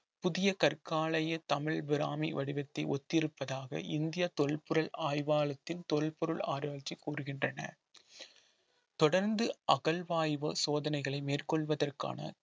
புதிய கற்காலய தமிழ் பிராமி வடிவத்தை ஒத்திருப்பதாக இந்திய தொல்பொருள் ஆய்வாளத்தின் தொல்பொருள் ஆராய்ச்சி கூறுகின்றன தொடர்ந்து அகழ்வாய்வு சோதனைகளை மேற்கொள்வதற்கான